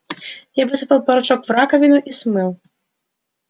я высыпал порошок в раковину и смыл